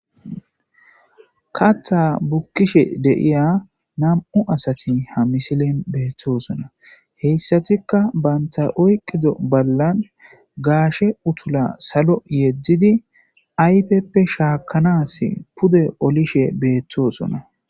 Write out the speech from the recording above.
Kaththa bukishe de'iya nam'u asati ha misilen beetosona hessatika banta oykida ballan gaashe utula salo yedidi ayfepe shaakanasi pude polished beetosona.